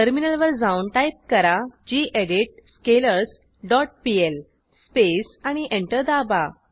टर्मिनलवर जाऊन टाईप करा gedit scalars dot PL space आणि एंटर दाबा